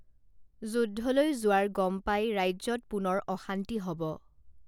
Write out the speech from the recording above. যুদ্ধলৈ যোৱাৰ গম পাই ৰাজ্যত পুনৰ অশান্তি হব